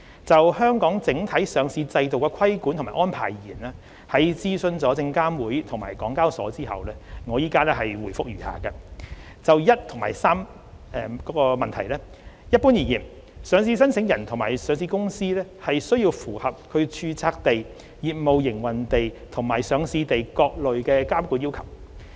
就香港整體上市制度的規管及安排而言，在諮詢證券及期貨事務監察委員會及港交所後，我現回覆如下：一及三一般而言，上市申請人及上市公司須符合其註冊地、業務營運地，以及上市地的各類監管要求。